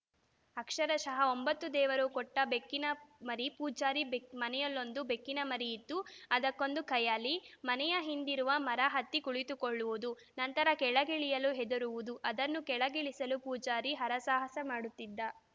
ಅಕ್ಷರಶಃ ಒಂಬತ್ತು ದೇವರು ಕೊಟ್ಟಬೆಕ್ಕಿನ ಮರಿ ಪೂಜಾರಿ ಬೆ ಮನೆಯಲ್ಲೊಂದು ಬೆಕ್ಕಿನ ಮರಿಯಿತ್ತು ಅದಕ್ಕೊಂದು ಖಯಾಲಿ ಮನೆಯ ಹಿಂದಿರುವ ಮರ ಹತ್ತಿ ಕುಳಿತುಕೊಳ್ಳುವುದು ನಂತರ ಕೆಳಗಿಳಿಯಲು ಹೆದರುವುದು ಅದನ್ನು ಕೆಳಗಿಳಿಸಲು ಪೂಜಾರಿ ಹರಸಾಹಸ ಮಾಡುತ್ತಿದ್ದ